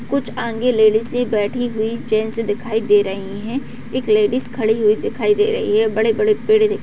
कुछ आगें लेडिस बैठी हुई चैन से दिखाई दे रही है एक लेडिस खड़ी हुई दिखाई दे रही है और बड़े-बड़े पेड़--